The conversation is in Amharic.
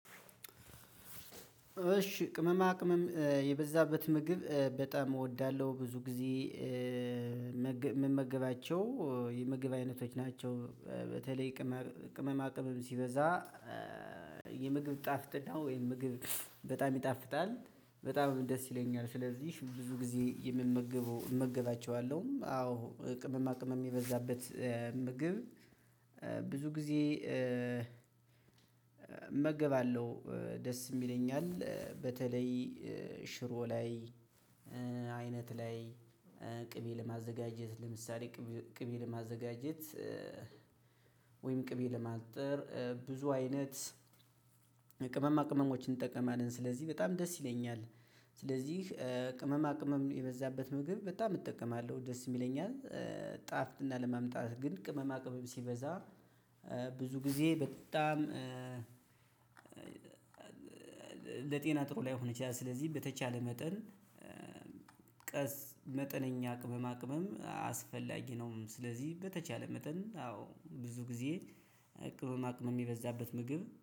እሺ ቅመማ ቅመም የበዛበት ምግብ በጣም እወዳለሁ ብዙ ጊዜ ምመገባቸው የምግብ አይነቶች ናቸው። በተለይ ቅመማ ቅመም ሲበዛ የምግብ ጣፍጥናው ወይም ምግብ በጣም ይጣፍጣል በጣም ደስ ይለኛል ስለዚህ ብዙ ጊዜ የምመግበው እመግባቸዋለሁ። አዎ ቅምማ ቅመም የበዛበት ምግብ ብዙ ጊዜ እመገባለሁ ደስም ይለኛል። በተለይ ሽሮ ላይ አይነት ላይ ቅቤ ለማዘጋጀት ለምሳሌ ቅቤ ለማዘጋጀት ወይም ቅቤ ለማንጠር ብዙ አይነት ቅመማ ቅመሞችን እንጠቀማለን ስለዚህ በጣም ደስ ይለኛል። ስለዚህ ቅመማ ቅመም የበዛበት ምግብ በጣም እጠቀማለሁ ደስም ይለኛል። አይደል ጣፍጥና ለማምጣት ግን ቅመማ ቅመም ሲበዛ ብዙ ጊዜ በጣም ለጤና ጥሩ ላይሆን ይቺላል። ስለዚህ በተቻለ መጠን ቀስ መጠነኛ ቅመማ ቅመም አስፈላጊ ነውም። ስለዚህ በተቻለ መጠን አዎ ብዙ ጊዜ ቅመማ ቅመም የበዛበት ምግብ